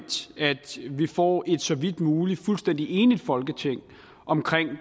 får samlet et så vidt muligt fuldstændig enigt folketing om